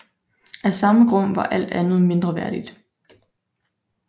Af samme grund var alt andet mindreværdigt